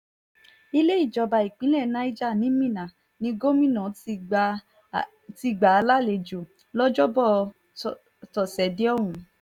ilé ìjọba ìpínlẹ̀ niger ni minna ní gómìnà ti gbà á lálejò lọ́jọ́bọ̀ tọ́sídẹ̀ẹ́ ọ̀hún